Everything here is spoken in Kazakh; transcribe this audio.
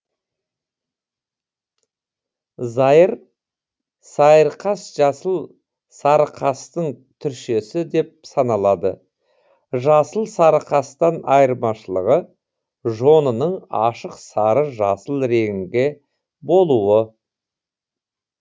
зайыр сайырқас жасыл сарықастың түршесі деп саналады жасыл сарықастан айырмашылығы жонының ашық сары жасыл реңкі болуы